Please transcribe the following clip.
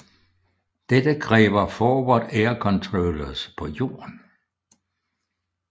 Dette kræver Forward air controllers på jorden